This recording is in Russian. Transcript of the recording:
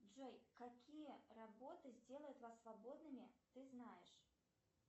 джой какие работы сделают вас свободными ты знаешь